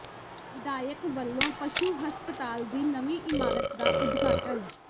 ਵਿਧਾਇਕ ਵੱਲੋਂ ਪਸ਼ੂ ਹਸਪਤਾਲ ਦੀ ਨਵੀਂ ਇਮਾਰਤ ਦਾ ਉਦਘਾਟਨ